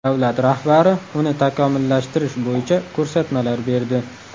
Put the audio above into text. Davlat rahbari uni takomillashtirish bo‘yicha ko‘rsatmalar berdi.